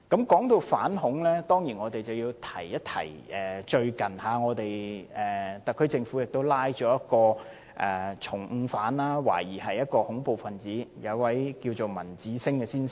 說到反恐，我當然要說一說最近特區政府拘捕了一名重犯，懷疑是恐怖分子，就是文子星先生。